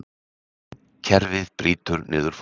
Kerfið brýtur niður fólk